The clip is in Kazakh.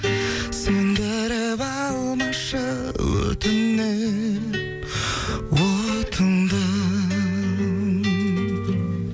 сөндіріп алмашы өтінем отыңды